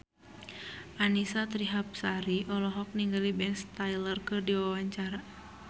Annisa Trihapsari olohok ningali Ben Stiller keur diwawancara